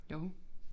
Jo